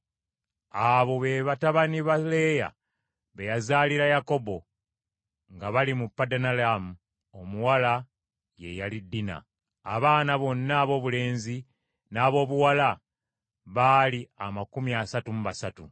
Abo be batabani ba Leeya be yazaalira Yakobo nga bali mu Padanalaamu, omuwala ye yali Dina. Abaana bonna aboobulenzi n’aboobuwala baali amakumi asatu mu basatu.